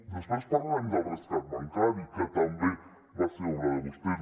després parlarem del rescat bancari que també va ser obra de vostès